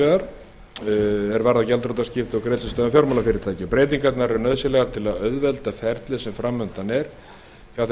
fjármálafyrirtæki er varða gjaldþrotaskipti og greiðslustöðvun fjármálafyrirtækja eru breytingarnar nauðsynlegar til að auðvelda það ferli sem framundan er hjá þeim